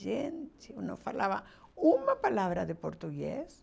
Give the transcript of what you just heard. Gente, eu não falava uma palavra de português.